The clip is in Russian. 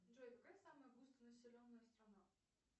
джой какая самая густонаселенная страна